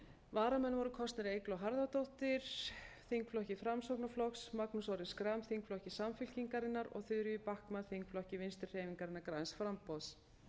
varamenn voru kosnir eygló harðardóttir þingflokki framsóknarflokks magnús orri schram þingflokki samfylkingarinnar og þuríður backman þingflokki vinstri hreyfingarinnar græns framboðs